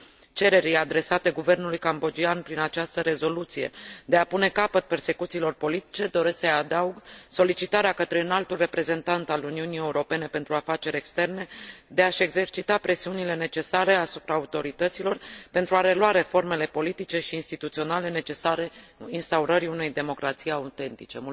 Cererii adresate guvernului cambodgian, prin această rezoluție, de a pune capăt persecuțiilor politice, doresc să i adaug solicitarea către Înaltul Reprezentant al Uniunii Europene pentru Afaceri Externe de a și exercita presiunile necesare asupra autorităților pentru a relua reformele politice și instituționale necesare instaurării unei democrații autentice.